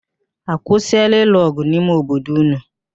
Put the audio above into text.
A kwụsịịla ịlụ ọgụ n'ime obodo ụnụ?